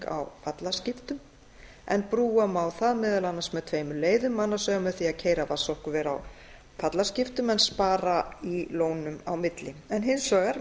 á fallaskiptum en brúa má það meðal annars með tveimur leiðum annars vegar með því að keyra vatnsorkuver á fallaskiptum en spara í lónum á milli en hins vegar